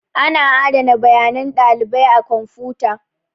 Ana adana bayanan ɗalibai a kwamfuta.